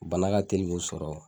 Bana ka teli k'o sɔrɔ